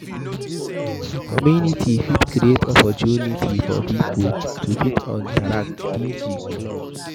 Community fit create opportunity for pipo to fit interact e.g club